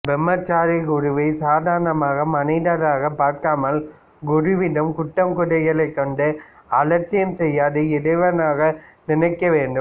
பிரம்மச்சாரி குருவை சாதாரண மனிதராக பார்க்காமல் குருவிடம் குற்றம் குறைகள் கண்டு அலட்சியம் செய்யாது இறைவனாக நினைக்க வேண்டும்